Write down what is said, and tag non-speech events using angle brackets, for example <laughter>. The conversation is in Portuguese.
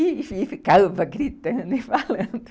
E ficava gritando e falando <laughs>